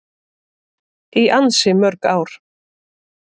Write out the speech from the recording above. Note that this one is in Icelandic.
Í ansi mörg ár.